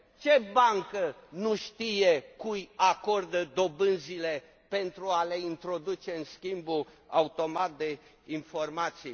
Ce bancă nu știe cui acordă dobânzile, pentru a le introduce în schimbul automat de informații?